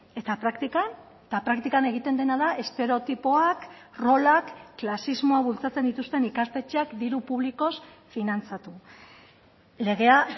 eta praktikan eta praktikan egiten dena da estereotipoak rolak klasismoa bultzatzen dituzten ikastetxeak diru publikoz finantzatu legea